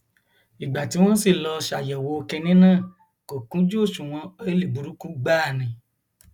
ìgbà tí wọn sì lọọ ṣàyẹwò kinní náà kò kúnjú òṣùwọn ọìlì burúkú gbáà ni